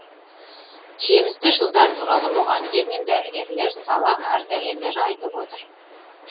жемісті жылдар туралы мұғалімдер мен дәрігерлер сала ардагерлері айтып отыр